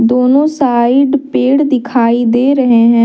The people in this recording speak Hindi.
दोनों साइड पेड़ दिखाई दे रहे हैं।